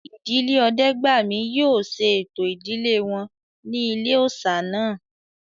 Ìdílé Ọdẹ́gbàmí yóò ṣe ẹ̀tọ́ ìdílé wọn ní ilé-òòsà náà